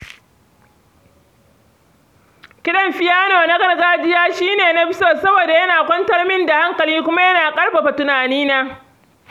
Kiɗan fiyano na gargajiya shi ne na fi so saboda yana kwantar min da hankali kuma yana ƙarfafa tunanina.